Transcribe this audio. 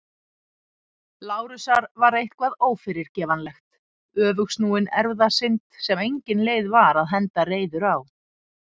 Lárusar var eitthvað ófyrirgefanlegt- öfugsnúin erfðasynd sem engin leið var að henda reiður á.